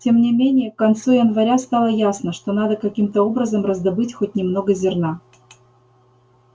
тем не менее к концу января стало ясно что надо каким-то образом раздобыть хоть немного зерна